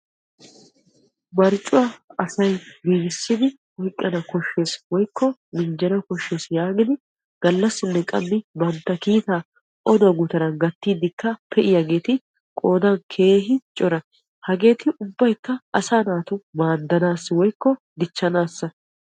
Marccuwa asay giigissiddi minjjanna koshees yaagiddi oduwa gutaran odiddi pee'iyaagetti keehippe cora. Hageeti ubbaykka asaa naaata maadanassa.